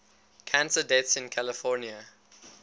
cancer deaths in california